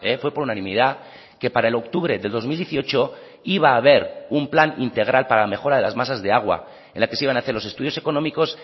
fue por unanimidad que para el octubre de dos mil dieciocho iba a haber un plan integral para la mejora de las masas de agua en la que se iban a hacer los estudios económicos